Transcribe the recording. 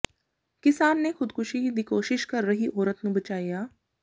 ਕਿਸਾਨ ਨੇ ਖੁਦਕੁਸ਼ੀ ਦੀ ਕੋਸ਼ਿਸ਼ ਕਰ ਰਹੀ ਔਰਤ ਨੂੰ ਬਚਾਇਆ